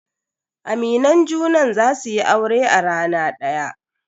Aminan junan za su yi aure a rana daya.